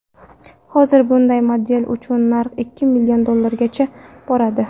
Hozir bunday model uchun narx ikki million dollargacha boradi.